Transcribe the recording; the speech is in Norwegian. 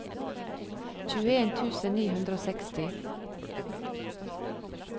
tjueen tusen ni hundre og seksti